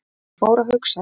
Ég fór að hugsa.